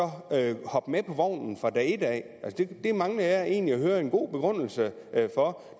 hoppe med på vognen fra dag et det mangler jeg egentlig at høre en god begrundelse for